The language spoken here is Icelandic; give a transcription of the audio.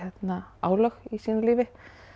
álög í sínu lífi